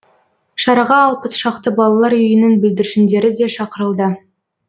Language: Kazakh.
шараға алпыс шақты балалар үйінің бүлдіршіндері де шақырылды